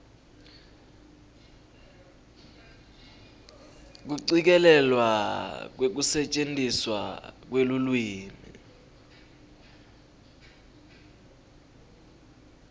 kucikelelwa kwekusetjentiswa kwelulwimi